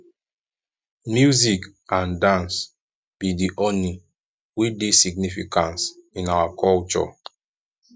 music and dance be di honey wey dey significance in our culture